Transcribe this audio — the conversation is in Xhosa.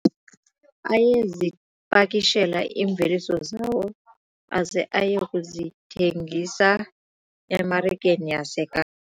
Ayezipakishela iimveliso zawo aze aye kuzithengisa emarikeni yaseKapa.